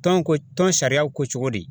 Tɔn ko tɔn sariyaw ko cogo di?